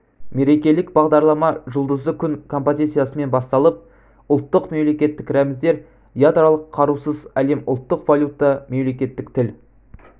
мерекелік бағдарлама жұлдызды күн композициясымен басталып ұлттық мемлекеттік рәміздер ядролық қарусыз әлем ұлттық валюта мемлекеттік тіл